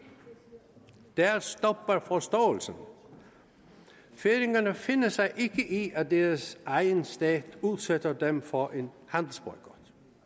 der stopper forståelsen færingerne finder sig ikke i at deres egen stat udsætter dem for en handelsboykot